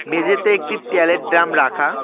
মেঝেতে একটি ট্যালের ড্রাম রাখা।